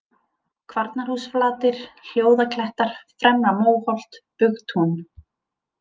Kvarnarhúsflatir, Hljóðaklettar, Fremra-Móholt, Bugtún